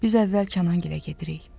Biz əvvəl Kənan gilə gedirik.